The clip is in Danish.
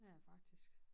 Ja faktisk